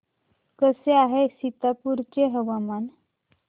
कसे आहे सीतापुर चे हवामान